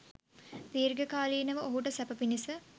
දීර්ඝ කාලීනව ඔහුට සැප පිණිස